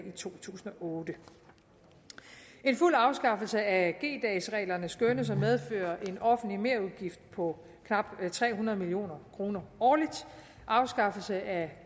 i to tusind og otte en fuld afskaffelse af g dagsreglerne skønnes at medføre en offentlig merudgift på knap tre hundrede million kroner årligt afskaffelse af